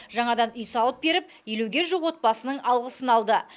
жаңадан үй салып беріп елуге жуық отбасының алғысын алды